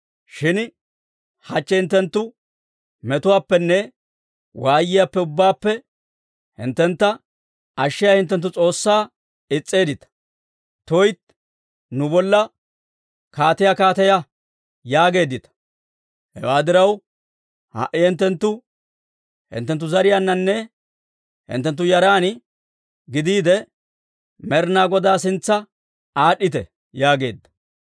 Shin hachche hinttenttu metuwaappenne waayiyaappe ubbaappe hinttentta ashshiyaa hinttenttu S'oossaa is's'eeddita; tuytti! ‹Nu bolla kaatiyaa kaateya› yaageeddita. Hewaa diraw, ha"i hinttenttu hinttenttu zariyaaninne hinttenttu yaran gidiide, Med'inaa Godaa sintsa aad'd'ite» yaageedda.